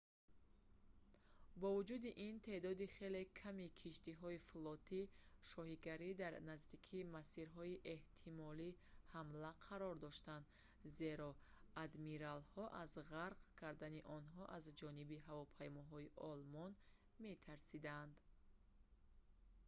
бо вуҷуди ин теъдоди хеле ками киштиҳои флоти шоҳигарӣ дар наздикии масирҳои эҳтимолии ҳамла қарор доштанд зеро адмиралҳо аз ғарқ кардани онҳо аз ҷониби ҳавопаймоҳои олмон метарсиданд